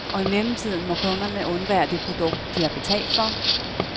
Og i mellemtiden må kunderne undvære det produkt, de har betalt for.